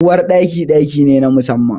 Uwar Ɗaki, ɗaki ne na musamman.